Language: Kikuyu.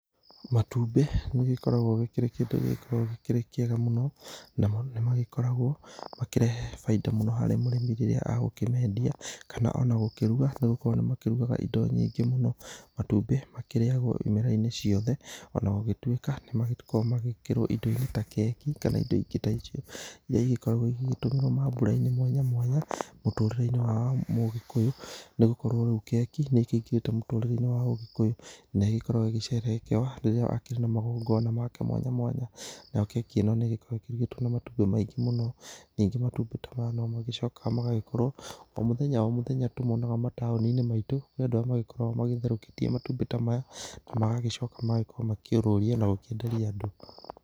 Matumbĩ nĩgĩkoragwo kĩndũ gĩkoragwo kĩrĩ kĩega mũno namo nĩ magĩkoragwo makĩrehe baida mũno harĩ mũrĩmi rĩrĩa egũkĩmendia kana ona gũkĩruga, nĩ gukorwo nĩ makĩrugaga ĩndo nyingĩ mũno. Matumbĩ makĩrĩyagwo ĩmera-inĩ ciothe ona gũgĩtuĩka nĩ makoragwo magĩkĩrwo ĩndo-inĩ ta keki kana ĩndo ĩngĩ ta icio ĩria ĩgĩkoragwo ĩgĩgĩtũmĩrwo maambũra-inĩ mwanya mwanya mũtũrĩre-inĩ wa mũgĩkũyũ nĩgũkorwo rĩu keki nĩ ĩkĩingĩrĩte mũtũrĩre-inĩ wa mũgĩkũyũ, na ĩgĩkoragwo ĩgĩcerekewa rĩrĩa akĩrĩ na magongona make mwanya mwanya. Nayo keki ĩno nĩ gĩkoragwo ĩrugĩtwo na matumbĩ maingĩ mũno. Ningĩ matumbĩ ta maya no magĩcokaga magagĩkorwo o mũthenya o mũthenya nĩ tũmonaga mataoni-inĩ maitũ nĩ andũ arĩa magĩkoragwo magĩtherũkĩtie matumbĩ ta maya na magagĩcoka magakorwo makĩũrũria na gũkĩenderia andũ.